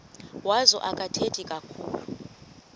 wazo akathethi kakhulu